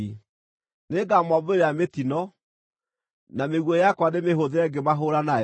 “Nĩngamombĩrĩra mĩtino na mĩguĩ yakwa ndĩmĩhũthĩre ngĩmahũũra nayo.